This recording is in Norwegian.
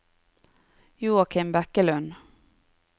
Joachim Bekkelund